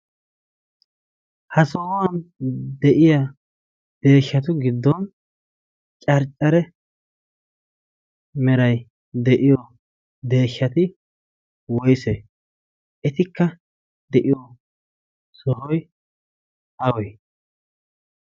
ha sohuwan de7iya deeshshatu giddon carccare merai de7iyo deeshshati woisee? etikka de7iyoo sohoi awee?